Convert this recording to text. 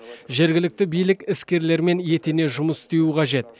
жергілікті билік іскерлермен етене жұмыс істеуі қажет